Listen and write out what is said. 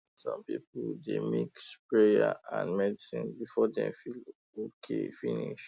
um some people dey mix prayer um and medicine um before dem feel okay finish